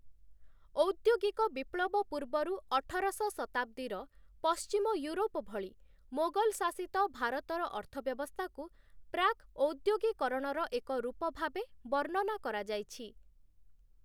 ଔଦ୍ୟୋଗିକ ବିପ୍ଳବ ପୂର୍ବରୁ ଅଠରଶ ଶତାବ୍ଦୀର ପଶ୍ଚିମ ୟୁରୋପ ଭଳି ମୋଗଲ୍‌ ଶାସିତ ଭାରତର ଅର୍ଥବ୍ୟବସ୍ଥାକୁ ପ୍ରାକ୍-ଔଦ୍ୟୋଗୀକରଣର ଏକ ରୂପ ଭାବେ ବର୍ଣ୍ଣନା କରାଯାଇଛି ।